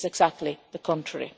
It is exactly the contrary.